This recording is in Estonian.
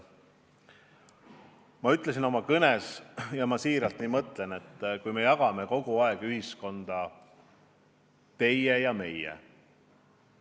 Ma ütlesin oma kõnes – ja ma tõesti nii mõtlen –, et me jagame kogu aeg ühiskonda kaheks: "teie" ja "meie".